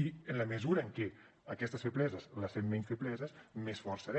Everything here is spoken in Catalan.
i en la mesura que aquestes febleses les fem menys febleses més forts serem